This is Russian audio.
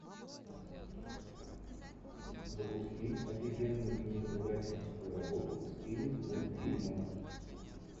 запусти офигенную кинематографическую работу в стиле мультфильмов